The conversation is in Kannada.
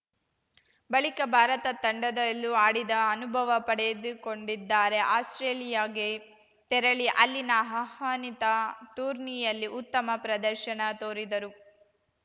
ಬಳಿಕ ಭಾರತ ತಂಡದಲ್ಲೂ ಆಡಿದ ಅನುಭವ ಪಡೆದುಕೊಂಡಿದ್ದಾರೆ ಆಸ್ಪ್ರೇಲಿಯಾಗೆ ತೆರಳಿ ಅಲ್ಲಿನ ಆಹ್ವಾನಿತ ಟೂರ್ನಿಯಲ್ಲಿ ಉತ್ತಮ ಪ್ರದರ್ಶನ ತೋರಿದರು